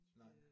Nej